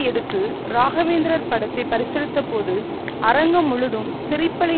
எடுத்து ராகவேந்திரர் படத்தை பரிசளித்தபோது அரங்கம் முழுதும் சிரிப்பலை